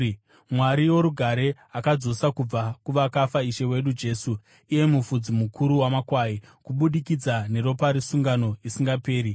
Mwari worugare, akadzosa kubva kuvakafa Ishe wedu Jesu iye mufudzi mukuru wamakwai, kubudikidza neropa resungano isingaperi,